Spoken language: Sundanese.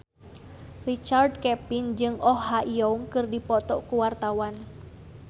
Richard Kevin jeung Oh Ha Young keur dipoto ku wartawan